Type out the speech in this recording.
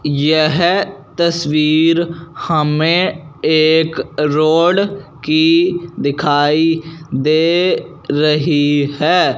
यह तस्वीर हमें एक रोड की दिखाई दे रही है।